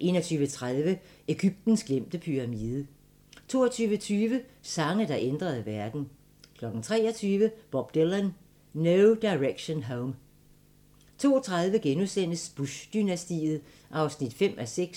21:30: Egyptens glemte pyramide 22:20: Sange, der ændrede verden 23:00: Bob Dylan - No Direction Home 02:30: Bush-dynastiet (5:6)*